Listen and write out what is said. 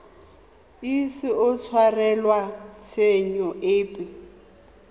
ise a tshwarelwe tshenyo epe